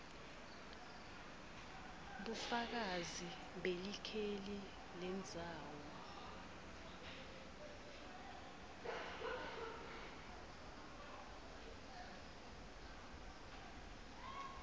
bufakazi belikheli lendzawo